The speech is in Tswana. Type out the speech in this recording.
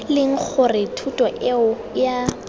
leng gore thuto eo ea